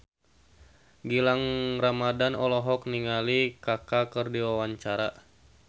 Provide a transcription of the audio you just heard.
Gilang Ramadan olohok ningali Kaka keur diwawancara